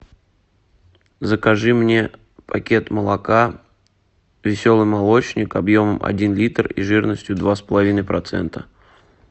закажи мне пакет молока веселый молочник объемом один литр и жирностью два с половиной процента